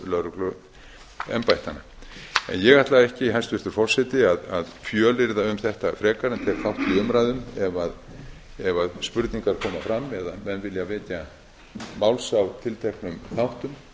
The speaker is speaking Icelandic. er fækkun lögregluumdæmanna ég ætlaði ekki hæstvirtur forseti að fjölyrða um þetta frekar en tek þátt í umræðum ef spurningar koma fram eða menn vilja vekja mála á tilteknum þáttum